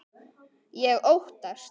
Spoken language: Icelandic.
Ég óttast.